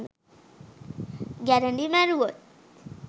ගැරඬි මැරුවොත්